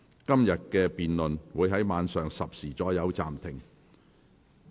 今天的辯論會在晚上10時左右暫停。